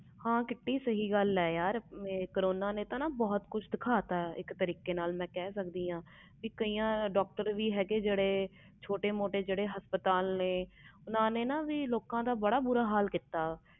ਹਾਂ ਸਹੀ ਗੱਲ ਆ ਕਰੋਨਾ ਨੇ ਬਹੁਤ ਕੁਛ ਦਿਖਤਾ ਸੀ ਮੈਂ ਕਹਿ ਸਕਦੀ ਕਈ ਡਾਕਟਰ ਵੀ ਹੈ ਛੋਟੇ ਮੋਟੇ ਹਸਪਤਾਲ ਵਾਲਿਆਂ ਨੇ ਬਹੁਤ ਬੁਰਾ ਹਾਲ ਕੀਤਾ